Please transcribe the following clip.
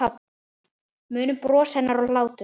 Munum bros hennar og hlátur.